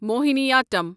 Mohiniyattam